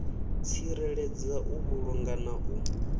tsireledza u vhulunga na u